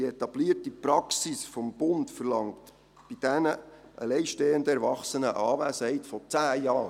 Die etablierte Praxis des Bundes verlangt bei alleinstehenden Erwachsenen eine Anwesenheit von 10 Jahren.